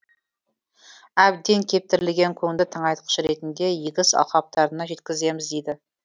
әбден кептірілген көңді тыңайтқыш ретінде егіс алқаптарына жеткіземіз дейді